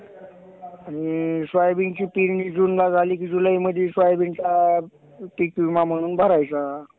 अह Thank You.